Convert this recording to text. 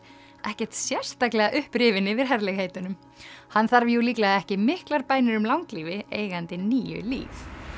ekkert sérstaklega upprifinn yfir herlegheitunum hann þarf jú líklega ekki miklar bænir um langlífi eigandi níu líf